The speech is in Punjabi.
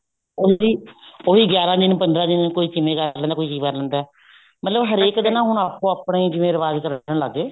ਉਹੀ ਉਹੀ ਗਿਆਰਾ ਦਿਨ ਪੰਦਰਾਂ ਦਿਨ ਕੋਈ ਕਿਵੇਂ ਕਰ ਲੈਂਦਾ ਕੋਈ ਕੀ ਕਰ ਲੈਂਦਾ ਮਤਲਬ ਹਰੇਕ ਦੇ ਨਾ ਹੁਣ ਆਪੋ ਆਪਣੇ ਜਿਵੇਂ ਰਿਵਾਜ਼ ਕਰਨ ਲੱਗ ਗਏ